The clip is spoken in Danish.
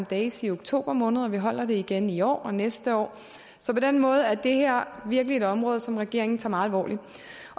days i oktober måned og vi holder det igen i år og næste år så på den måde er det her virkelig et område som regeringen tager meget alvorligt